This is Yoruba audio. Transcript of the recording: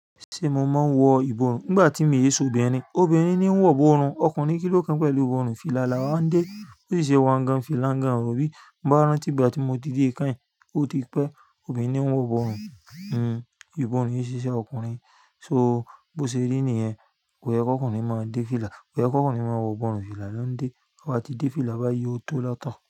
Ṣe mo maa wọ ìbọrùn? Nígbà tí mi o se obìnrin, obìnrin ni ó ń wọ ìbọrùn, ọkùnrin kí ló kàn pẹ̀lú ìbọrùn? Fìlà là wá ń dé, bó sì ṣe wa gan, fìlà gan, in rò bí bá rán tí ìgbà tí mo ti dé kàín, ó ti pẹ́ obìnrin ni wọ́n ń wọ ìbọrùn, ìbọrùn yí ṣe iṣẹ́ ọkùnrin. So bó ṣe rí nìyẹn, kò yẹ kí ọkùnrin máa dé fìlà, kò yẹ kí ọkùnrin máa wọ ìbọrùn, fìlà ló ń dé, tobá ti dé fìlà, bá yí ó tó lọtọ.